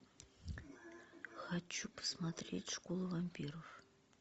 хочу посмотреть школу вампиров